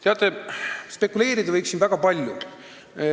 " Teate, spekuleerida võiks siin väga palju.